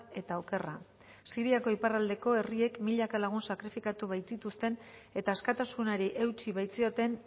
eta okerra siriako iparraldeko herriek milaka lagun sakrifikatu baitituzten eta askatasunari eutsi baitzioten